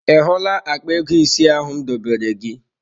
Ị hụla akpa ego isi ahụ m dobere gị?